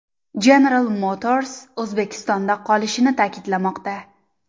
General Motors O‘zbekistonda qolishini ta’kidlamoqda.